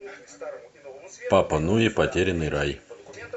папа нуи потерянный рай